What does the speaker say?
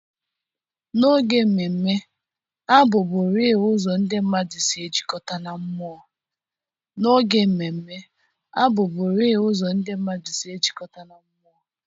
N'oge mmemme, abụ bụriii ụzọ ndị mmadụ si ejikọta na mmụọ.